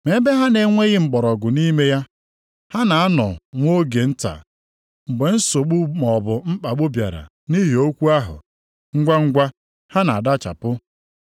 Ma ebe ha na-enweghị mgbọrọgwụ nʼime ha. Ha na-anọ nwa oge nta. Mgbe nsogbu maọbụ mkpagbu bịara nʼihi okwu ahụ, ngwangwa ha na-adachapụ.